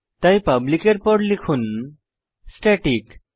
তাই পাবলিক এর পর লিখুন স্ট্যাটিক